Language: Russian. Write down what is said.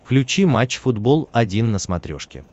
включи матч футбол один на смотрешке